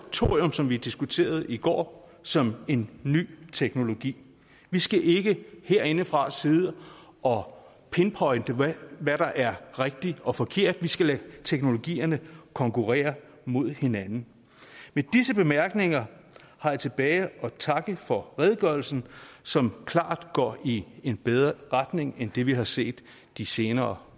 thorium som vi diskuterede i går som en ny teknologi vi skal ikke herindefra sidde og pinpointe hvad der er rigtigt og forkert vi skal lade teknologierne konkurrere mod hinanden med disse bemærkninger har jeg tilbage at takke for redegørelsen som klart går i en bedre retning end det vi har set de senere